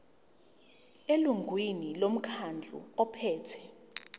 elungwini lomkhandlu ophethe